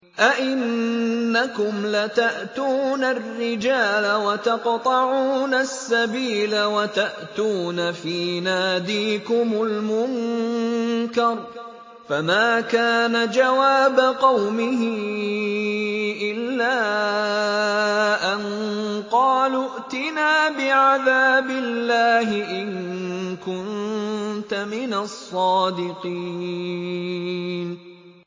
أَئِنَّكُمْ لَتَأْتُونَ الرِّجَالَ وَتَقْطَعُونَ السَّبِيلَ وَتَأْتُونَ فِي نَادِيكُمُ الْمُنكَرَ ۖ فَمَا كَانَ جَوَابَ قَوْمِهِ إِلَّا أَن قَالُوا ائْتِنَا بِعَذَابِ اللَّهِ إِن كُنتَ مِنَ الصَّادِقِينَ